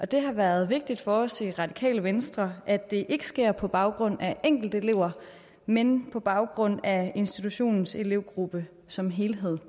det har været vigtigt for os i radikale venstre at det ikke sker på baggrund af enkelte elever men på baggrund af institutionens elevgruppe som helhed